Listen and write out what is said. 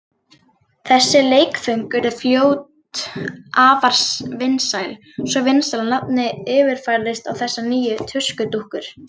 Þessi leikföng urðu fljótt afar vinsæl, svo vinsæl að nafnið yfirfærðist á þessar nýju tuskudúkkur.